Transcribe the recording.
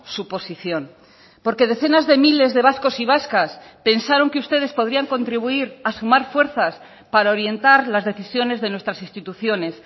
su posición porque decenas de miles de vascos y vascas pensaron que ustedes podrían contribuir a sumar fuerzas para orientar las decisiones de nuestras instituciones